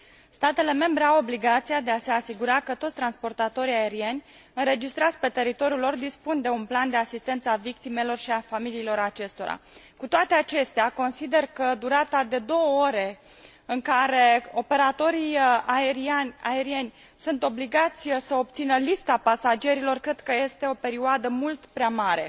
Statele membre au obligația de a se asigura că toți transportatorii aerieni înregistrați pe teritoriul lor dispun de un plan de asistență a victimelor și a familiilor acestora. Cu toate acestea, consider că durata de două ore în care operatorii aerieni sunt obligați să obțină lista pasagerilor, cred că este o perioadă mult prea mare.